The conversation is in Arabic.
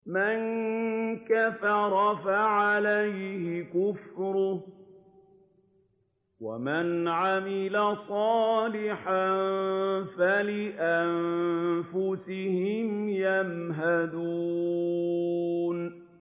مَن كَفَرَ فَعَلَيْهِ كُفْرُهُ ۖ وَمَنْ عَمِلَ صَالِحًا فَلِأَنفُسِهِمْ يَمْهَدُونَ